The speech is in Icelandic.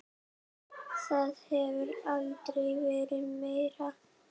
Það hefur aldrei verið meira.